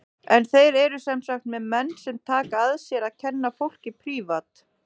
En þeir eru sem sagt með menn sem taka að sér að kenna fólki prívat.